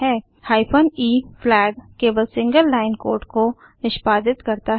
hyphen e flag केवल single line code को निष्पादित करता है